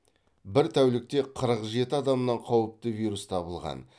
бір тәулікте қырық жеті адамнан қауіпті вирус табылған